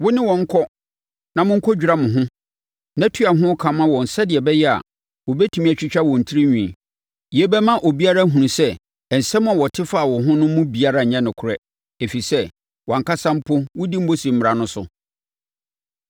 Wo ne wɔn nkɔ na monkɔdwira mo ho na tua ho ka ma wɔn sɛdeɛ ɛbɛyɛ a, wɔbɛtumi atwitwa wɔn tirinwi. Yei bɛma obiara ahunu sɛ nsɛm a wɔte faa wo ho no mu biara nyɛ nokorɛ, ɛfiri sɛ, wʼankasa mpo, wodi Mose mmara no so.